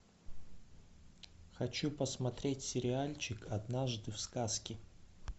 хочу посмотреть сериальчик однажды в сказке